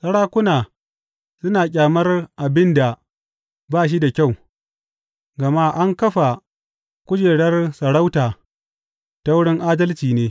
Sarakuna suna ƙyamar abin da ba shi da kyau, gama an kafa kujerar sarauta ta wurin adalci ne.